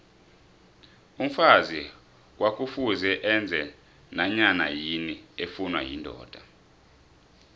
umfazi kwakufuze enze nanyanayini efuna yindoda